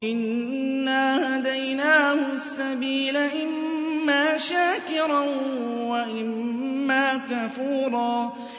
إِنَّا هَدَيْنَاهُ السَّبِيلَ إِمَّا شَاكِرًا وَإِمَّا كَفُورًا